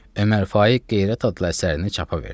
Ömər Faiq Qeyrət adlı əsərini çapa verdi.